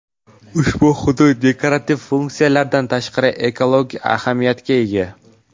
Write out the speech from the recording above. Ushbu hudud dekorativ funksiyasidan tashqari ekologik ahamiyatga ega.